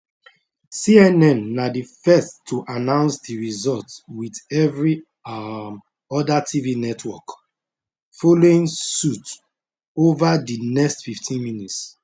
cnn na di first to announce di result with every um oda tv network following suit over di next 15 minutes